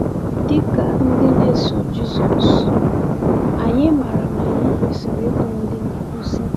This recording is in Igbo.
Dị ka ndị na-eso Jisọs, anyị maara na anyị kwesịrị ịbụ ndị nkuzi.